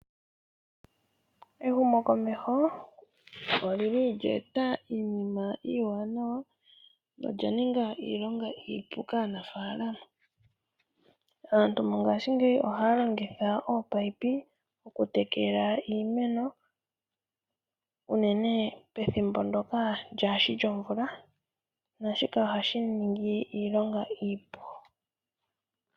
Ehumokomeho olye eta iinima iiwanawa nolya ninga iilonga iipu kaanafaalama. Aantu mongashingeyi ohaya longitha oopayipi okutekela iimeno, unene pethimbo ndyoka lyaashi lyomvula naashika ohashi ningi iilonga iipu.